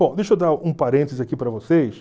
Bom, deixa eu dar um parênteses aqui para vocês.